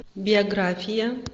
биография